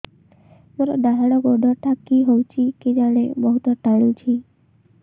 ମୋର୍ ଡାହାଣ୍ ଗୋଡ଼ଟା କି ହଉଚି କେଜାଣେ ବହୁତ୍ ଟାଣୁଛି